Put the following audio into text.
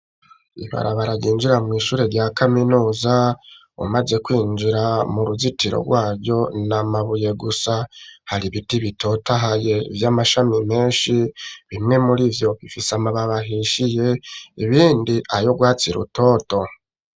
Ibarabara ryinjira, mw'ishure rya kaminuza, umaze kwinjira, mu ruzitiro rwaryo, ni amabuye gusa; hari ibiti bitotohaye, vy'amashami menshi; bimwe muri vyo, bifise amababi ahishiye, ibindi ay'urwatsi rutoto.